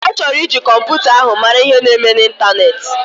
Ọchọrọ iji kọmputa ahu mara ihe na eme na intaneti.